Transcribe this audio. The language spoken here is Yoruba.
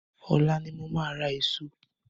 Ọ̀la ni mo máa ra eso.